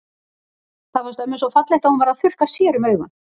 Það fannst ömmu svo fallegt að hún varð að þurrka sér um augun.